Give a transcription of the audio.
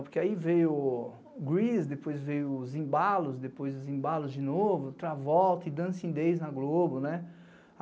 Porque aí veio o Grease, depois veio o Zimbalos, depois o Zimbalos de novo, outra volta e Dancing Days na Globo.